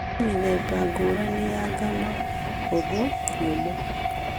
Kwĩmĩthemba ngũrani ya ngano, hũthũ , nyũmũ